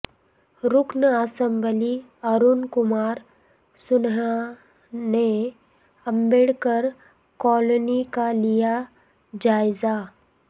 رکن اسمبلی ارون کمارسنہا نے امبیڈکر کالونی کا لیاجائزہ